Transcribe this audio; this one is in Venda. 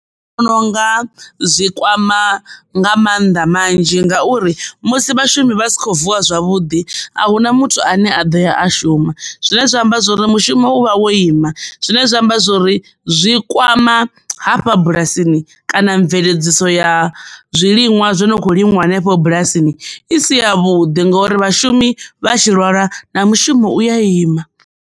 Nṋe ndi vhona unga zwikwama nga mannḓa manzhi ngauri musi vhashumi vha si kho vuwa zwavhuḓi a hu na muthu ane a ḓo ya a shuma zwine zwa amba zwori mushumo u vha wo ima. Zwine zwa amba zwori zwori zwi kwama hafha bulasini kana mveledziso ya zwiliṅwa zwo no kho limiwa henefho bulasini i si ya vhuḓi ngori vhashumi vha tshi lwalwa na mushumo u ya ima.